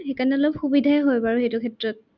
সেইকাৰণে অলপ সুবিধাই হয় বাৰু সেইটো ক্ষেত্ৰত।